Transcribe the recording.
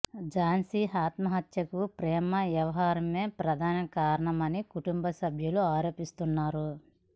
ఝాన్సీ ఆత్మహత్యకు ప్రేమ వ్యవహారమే ప్రధాన కారణమని కుటుంబ సభ్యులు ఆరోపిస్తున్నారు